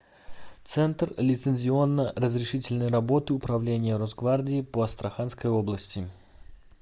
центр лицензионно разрешительной работы управления росгвардии по астраханской области